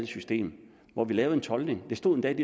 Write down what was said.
system hvor vi lavede en toldning det stod endda